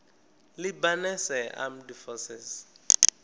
lebanese armed forces